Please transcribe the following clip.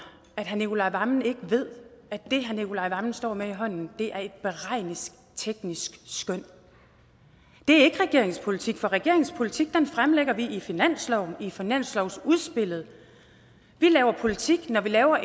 at herre nicolai wammen ikke ved at det han står med i hånden er et beregningsteknisk skøn det er ikke regeringens politik for regeringens politik fremlægger vi i finansloven i finanslovsudspillet vi laver politik når vi laver